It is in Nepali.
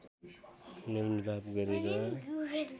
मेलमिलाप गरेर